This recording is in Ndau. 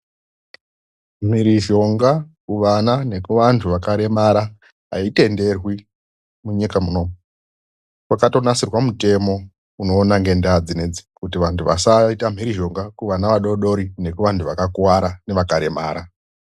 MHIRIZHONGA KUVANA NEKUVANHU VAKAREMARA AiTENDERWI PAKATOGADZIRWA MUTEMO UNOONA NGENDAA DZINODZI UNOONA ASAITE MHIRIZHONGA KUANHU AKAREMARA NEANA ADOKO